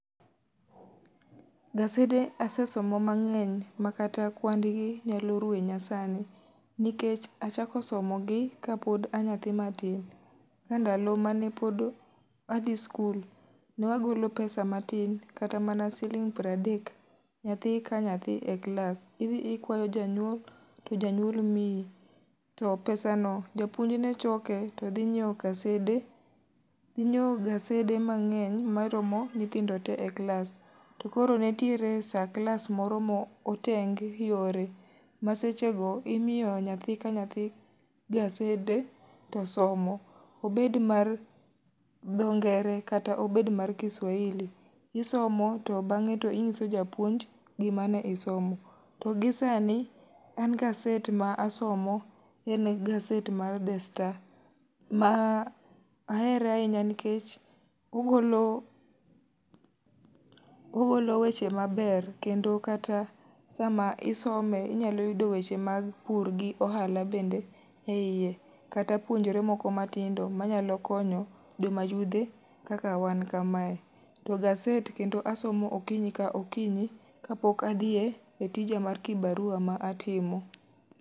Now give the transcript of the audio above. Gasede asesomo mang'eny ma kata kwand gi nyalo rwenya sani. Nikech achako somo gi kapod anyathi matin. Ka ndalo mane pod adhi skul, ne wagolo pesa matin, kata mana siling' pradek, nyathi ka nyathi e klas. Idhi ikwayo janyuol to janyuol miyi. To pesa no japuonj ne choke to dhi nyiewo kasede, dhi nyiewo gasede mang'eny ma romo nyithindo te e klas. To koro nitiere sa klas moro ma oteng yore ma seche go imiyo nyathi ka nyathi gasede to somo. Obed mar dho Ngere kata obed mar Kiswahili. Isomo to bang'e to ing'iso japuonj gima ne isomo. To gisani an gaset ma asomo en gaset mar The Star, ma ahere ahinya nikech ogolo weche maber kendo kata sama isome inyalo yudo weche mag pur gi ohala e iye. Kata puonjre moko matindo manyalo konyo joma yudhe kaka wan kamae. To gaset kendo asomo okinyi ka okinyi, kapok adhiye e tija mar kibarua ma atimo.